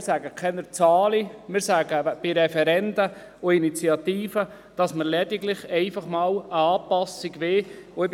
Wir nennen keine Zahlen, sondern sagen, dass wir lediglich bei Referenden und Initiativen einmal eine Anpassung wollen.